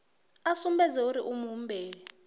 a sumbedze uri u muhumbeli